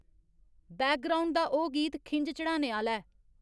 background दा ओह् गीत खिंझ चढ़ाने आह्ला ऐ